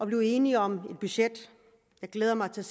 blevet enige om et budget jeg glæder mig til